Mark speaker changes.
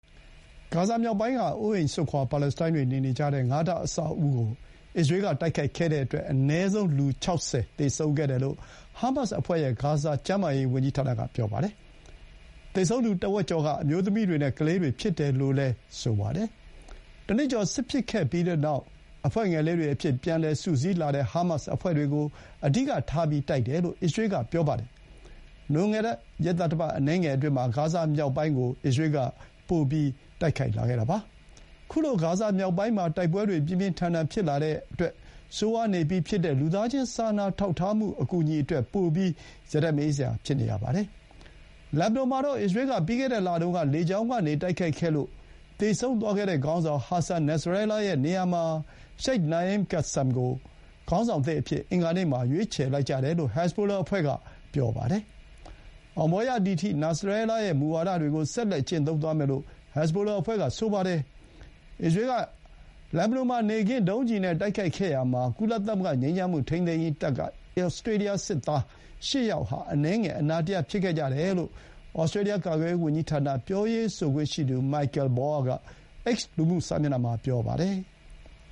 Speaker 1: ဂါဇာမြောက်ပိုင်းက အိုးအိမ်စွန့်ခွါ ပါလက်စတိုင်းတွေနေ,နေတဲ့ ငါးထပ်အဆောက်အဦးကို အစ္စရေးက တိုက်ခိုက်ခဲ့တဲ့အတွက် အနည်းဆုံး လူ ၆၀ သေဆုံးခဲ့တယ်လို့ ဟာမတ်အဖွဲ့ရဲ့ ဂါဇာကျန်းမာရေး ဝန်ကြီးဌာနက ပြောပါတယ်။ သေဆုံးသူတဝက်ကျော်က အမျိုးသမီးတွေနဲ့ကလေးတွေ ဖြစ်တယ် လို့လည်း ဆိုပါတယ်။ တနှစ်ကျော် စစ်ဖြစ်ခဲ့ပြီးတဲ့နောက် အဖွဲ့ငယ်လေးတွေအဖြစ် ပြန်စုစည်းလာတဲ့ ဟာမတ်စ်အဖွဲ့တွေကို အဓိကထားတိုက်တယ်လို့ အစ္စရေးက ပြောပါတယ်။ လွန်ခဲ့တဲ့ ရက်သတ္တပတ် အနည်းငယ်အတွင်း ဂါဇာမြောက်ပိုင်းကို ပိုလို့ တိုက်ခိုက်လာခဲ့တာပါ။ ခုလို ဂါဇာမြောက်ပိုင်းမှာ တိုက်ပွဲတွေ ပြန်ပြီး ပြင်းထန်လာတဲ့အတွက် ဆိုးဝါးနေပြီးဖြစ်တဲ့ လူသားချင်း စာနာထောက်ထားမှုအတွက် ပိုပြီး ရတက်မအေးစရာ ဖြစ်နေရပါတယ်။ လက်ဘနွန်မှာတော့ အစ္စရေးက ပြီးခဲ့တဲ့လတုန်းက လေကြောင်းကနေတိုက်ခိုက်ခဲ့လို့ သေဆုံးသွားခဲ့တဲ့ ခေါင်းဆောင် ဟာဆန် နာစရဲလား (Hassan Nasrallah) ရဲ့နေရာမှာ ရှိတ်နာအင် ကာဆမ် (Sheikh Naim Kassem) ကို ခေါင်းဆောင်သစ်အဖြစ်အင်္ဂါနေ့မှာ ရွေးချယ်လိုက်ကြတယ်လို့ ဟက်ဇ်ဘိုလာအဖွဲ့က ပြောပါတယ်။ အောင်ပွဲရသည်အထိ နာစရဲလားရဲ့ မူဝါဒတွေကို ဆက်လက် ကျင့်သုံးသွားမယ်လို့ ဟက်ဇ်ဘိုလာအဖွဲ့က ဆိုပါတယ်။ ကုလသမဂ္ဂ ငြိမ်းချမ်းမှုထိန်းသိမ်းရေးတပ်က ဩစတြေးလျား စစ်သား ၈ ယောက်ဟာ အစ္စရေးက နေ့ခင်းဘက် ဒုံးကျည်နဲ့တိုက်ခိုက်တာကြောင့် အနည်းငယ် အနာတရဖြစ်ခဲ့ကြတယ်လို့ ဩစတြေးလျား ကာကွယ်ရေးဝန်ကြီးဌာနပြောရေးဆိုခွင့်ရှိသူ Michael Bauer က လူမှုစာမျက်နှာ X မှာ ပြောပါတယ်။